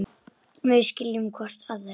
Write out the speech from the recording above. Við skiljum hvor aðra.